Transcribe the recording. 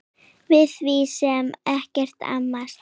Við því sé ekkert amast.